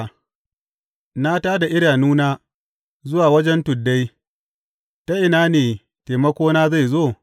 Na tā da idanuna zuwa wajen tuddai, ta ina ne taimakona zai zo?